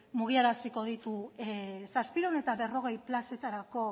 mugiaraziko ditu zazpiehun eta berrogei plazetarako